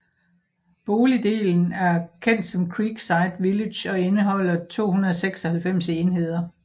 Boligdelen af kendt som Creekside Village og indeholder 296 enheder